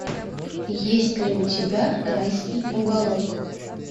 есть ли у тебя райский уголок